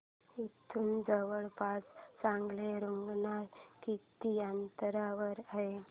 इथे जवळपास चांगलं रुग्णालय किती अंतरावर आहे